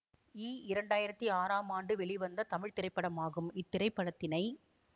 ஈ இரண்டு ஆயிரத்தி ஆறாம் ஆண்டு வெளிவந்த தமிழ் திரைப்படமாகும் இத் திரைப்படத்தினை